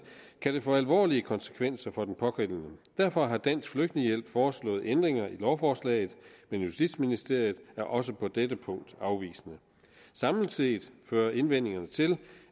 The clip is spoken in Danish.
kan det få alvorlige konsekvenser for den pågældende derfor har dansk flygtningehjælp foreslået ændringer i lovforslaget men justitsministeriet er også på dette punkt afvisende samlet set fører indvendingerne til